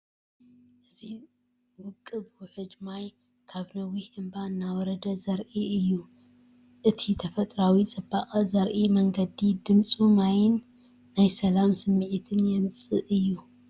እዚ ውቁብ ውሕጅ ማይ ካብ ነዊሕ እምባ እናወረደ ዘርኢ እዩ። እቲ ተፈጥሮኣዊ ጽባቐ ዘርኢ መንገዲ ድምጺ ማይን ናይ ሰላም ስምዒት የምጽእ እዩ።